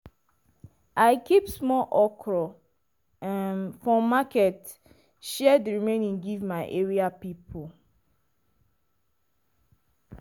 i keep small okra um for market share di remaining give my area people.